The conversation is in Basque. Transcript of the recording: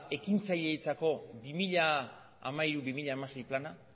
ekintzaileentzako bi mila hiru bi mila sei plana